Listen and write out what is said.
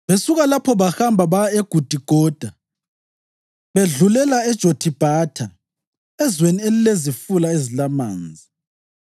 Besuka lapho bahamba baya eGudigoda bedlulela eJothibhatha, ezweni elilezifula ezilamanzi.